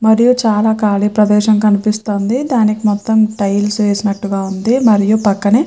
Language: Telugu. మరియు చాలా ఖాళీ ప్రదేశం కనిపిస్తుంది. దానికి మొత్తం టైల్స్ వేసినట్టుగా ఉంది. మరియు పక్కనే --